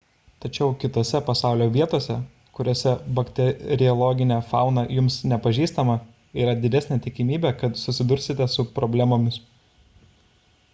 tačiau kitose pasaulio vietose kuriose bakteriologinė fauna jums nepažįstama yra didesnė tikimybė kad susidursite su problemomis